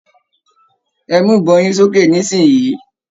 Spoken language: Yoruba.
Ẹ mu ibọn yín sókè nisinyi í!